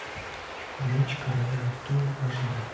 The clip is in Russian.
меч короля артура аш дэ